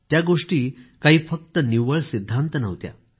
त्या गोष्टी काही फक्त निव्वळ सिद्धांत नव्हत्या